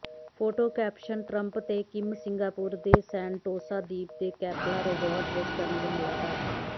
photo caption Trump ਤੇ Kim Singapore ਦੇ Sentosa ਦੀਪ ਦੇ ਕੈਪੇਲਾ ਰਿਜ਼ੌਰਟ ਵਿੱਚ ਕਰਨਗੇ ਮੁਲਾਕਾਤ